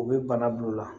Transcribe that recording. U bɛ bana bila u la